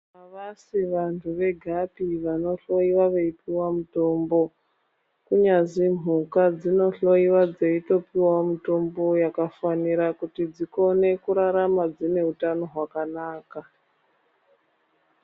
Avasi vanthu vegapi vanohloyiwa veipuwa mutombo, kunyazi mhuka dzinohloyiwa dzeitopuwawo mutombo yakafanira kuti dzikone kurarama dzine utano hwakanaka.